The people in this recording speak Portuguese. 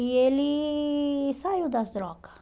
E ele saiu das drogas.